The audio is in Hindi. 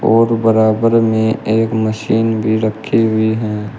और बराबर में एक मशीन भी रखी हुई हैं।